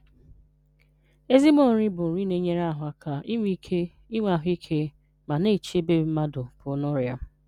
Ezigbo nri bụ nri na-enyere ahụ aka inwe ike, inwe ahụike, ma na-echebe mmadụ pụọ n'ọrịa.